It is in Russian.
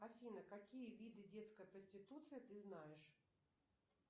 афина какие виды детской проституции ты знаешь